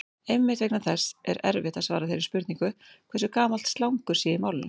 Einmitt vegna þess er erfitt að svara þeirri spurningu hversu gamalt slangur sé í málinu.